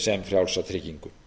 sem frjálsa tryggingu